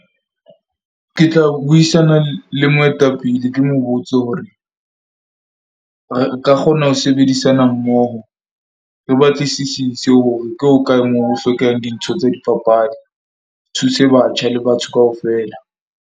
Ke tla buisana le moetapele. Ke mo botse hore re ka kgona ho sebedisana mmoho. Re batlisisise hore ke hokae moo ho hlokehang dintho tsa dipapadi. Thuse batjha le batho kaofela.